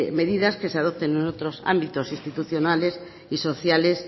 medidas que se adopten en otros ámbitos institucionales y sociales